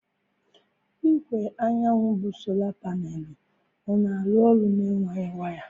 Igwe anyanwụ bụ Sola Panelu ọ na-arụ ọrụ na-enweghị waya?